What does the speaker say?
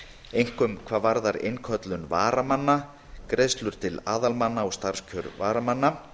einkum hvað varðar innköllun varamanna greiðslur til aðalmanna og starfskjör varamanna